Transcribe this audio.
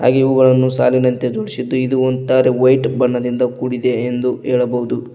ಹಾಗೆ ಇವುಗಳನ್ನು ಸಾಲಿನಂತೆ ಜೋಡಿಸಿದ್ದು ಇದು ಒಂತರ ವೈಟ್ ಬಣ್ಣದಿಂದ ಕೂಡಿದೆ ಎಂದು ಹೇಳಬಹುದು.